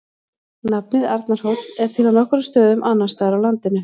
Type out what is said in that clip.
Nafnið Arnarhóll er til á nokkrum stöðum annars staðar á landinu.